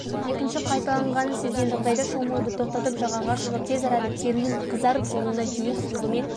екінші қайталанғанын сезген жағдайда шомылуды тоқтатып жағаға шығып тез арада терінің қызарып жылуына дейін сүлгімен